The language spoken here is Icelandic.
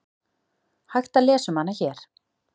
Hægt að lesa um hana hér.